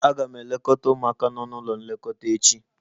Aga m eleta ụmụaka nọ n'ụlọ nlekọta echi